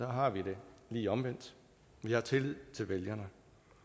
har vi det lige omvendt vi har tillid til vælgerne